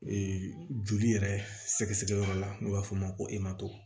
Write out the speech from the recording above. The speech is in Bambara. joli yɛrɛ sɛgɛsɛgɛyɔrɔ la n'o b'a fɔ a ma ko